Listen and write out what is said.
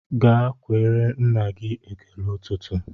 Ga kweere nna gị ekele ụtụtụ!